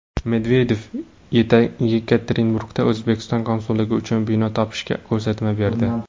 Medvedev Yekaterinburgda O‘zbekiston konsulligi uchun bino topishga ko‘rsatma berdi.